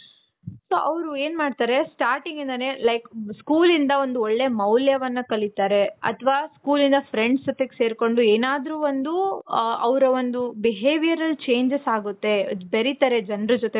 so ಅವ್ರು ಏನ್ ಮಾಡ್ತಾರೆ, starting ಇಂದಾನೆ like school ಇಂದ ಒಂದು ಒಳ್ಳೆ ಮೌಲ್ಯವನ್ನ ಕಲಿತಾರೆ ಅತವ school ಇಂದ friends ಜೊತೆಗೆ ಸೇರ್ಕೊಂಡು ಏನಾದ್ರೂ ಒಂದು ಅವರ behavior ಅಲ್ಲಿ changes ಆಗುತ್ತೆ ಬೇರಿತಾರೆ ಜನರು ಜೊತೆ .